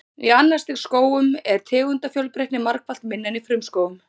Í annars stigs skógum er tegundafjölbreytni margfalt minni en í frumskógum.